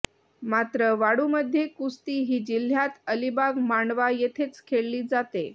मात्र वाळूमध्ये कुस्ती ही जिल्ह्यात अलिबाग मांडवा येथेच खेळली जाते